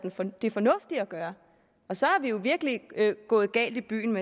det fornuftige at gøre og så er vi jo virkelig gået galt i byen